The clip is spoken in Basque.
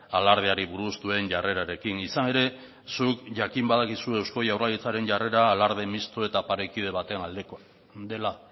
alardeari buruz duen jarrerarekin izan ere zuk jakin badakizu eusko jaurlaritzaren jarrera alarde misto eta parekide baten aldekoa dela